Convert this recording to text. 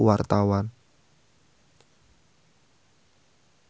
Bungsu Bandung jeung Jennifer Lopez keur dipoto ku wartawan